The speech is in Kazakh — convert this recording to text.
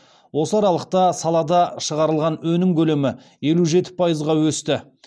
осы аралықта салада шығарылған өнім көлемі елу жеті пайызға өсті